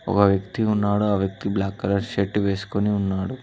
ఒగ వ్యక్తి ఉన్నాడు ఆ వ్యక్తి బ్లాక్ కలర్ షర్టు వేసుకొని ఉన్నాడు.